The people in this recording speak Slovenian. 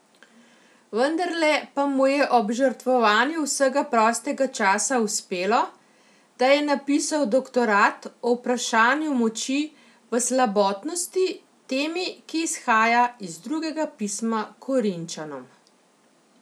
Vendarle pa mu je ob žrtvovanju vsega prostega časa uspelo, da je napisal doktorat o vprašanju moči v slabotnosti, temi, ki izhaja iz Drugega pisma Korinčanom.